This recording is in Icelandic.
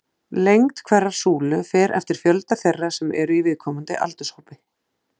Lengd hverrar súlu fer eftir fjölda þeirra sem eru í viðkomandi aldurshópi.